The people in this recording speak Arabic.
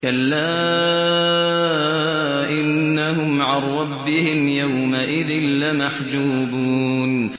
كَلَّا إِنَّهُمْ عَن رَّبِّهِمْ يَوْمَئِذٍ لَّمَحْجُوبُونَ